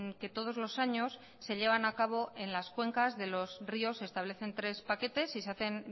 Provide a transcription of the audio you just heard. que todos los años se llevan a cabo en las cuencas de los ríos se establecen tres paquetes y se hacen